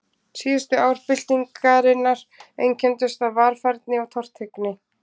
Síðustu ár byltingarinnar einkenndust af varfærni og tortryggni.